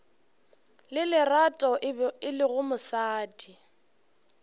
le lerato e lego mosadi